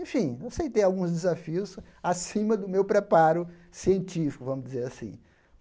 Enfim, eu aceitei alguns desafios acima do meu preparo científico, vamos dizer assim.